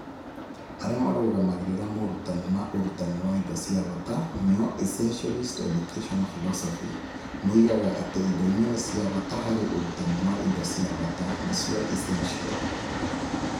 Arĩa maarũgamagĩrĩra morutani ma ũrutani wa indo cia bata (Essentialist educational philosophy) moigaga atĩ indo imwe nĩ cia bata harĩ ũrutani wa indo cia bata (essential).